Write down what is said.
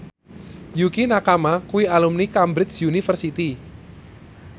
Yukie Nakama kuwi alumni Cambridge University